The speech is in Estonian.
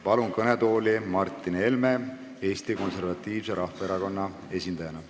Palun kõnetooli Martin Helme Eesti Konservatiivse Rahvaerakonna esindajana.